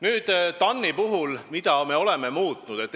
Nüüd, mida me TAN-is oleme muutunud.